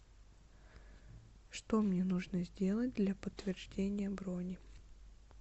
что мне нужно сделать для подтверждения брони